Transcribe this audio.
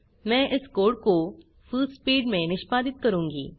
मैं इस कोड को फुलस्पीड में निष्पादित करूँगी